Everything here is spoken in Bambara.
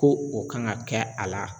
Ko o kan ka kɛ a la.